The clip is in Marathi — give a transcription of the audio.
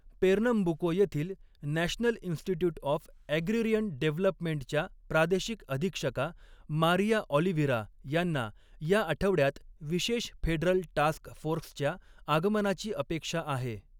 पेर्नमबुको येथील नॅशनल इन्स्टिट्यूट ऑफ ॲग्रिरियन डेव्हलपमेंटच्या प्रादेशिक अधीक्षका, मारिया ऑलिव्हिरा यांना या आठवड्यात विशेष फेडरल टास्क फोर्सच्या आगमनाची अपेक्षा आहे.